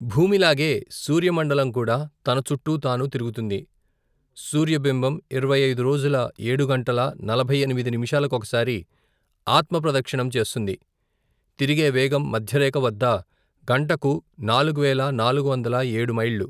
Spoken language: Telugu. భూమిలాగే, సూర్యమండలంకూడా తనచుట్టూ తాను తిరుగుతుంది సూర్యబింబం ఇరవైఐదురోజుల ఏడు గంటల నలభైఎనిమిది నిమిషాలకొకసారి ఆత్మప్రదక్షణం చేస్తుంది తిరిగే వేగం మధ్యరేఖవద్ద గంటకు నాలుగువేల నాలుగువందల ఏడు మైళ్ళు.